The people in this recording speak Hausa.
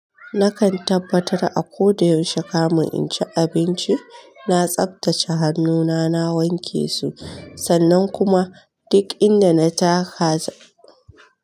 Nakan tabbatar a koda yaushe kamin in ci abinci, na tsaftace hannuna, na wanke su sannan kuma duk inda na taka.